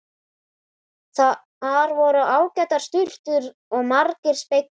Þar voru ágætar sturtur og margir speglar!